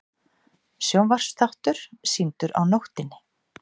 Sjónvarpsþáttur sýndur á nóttinni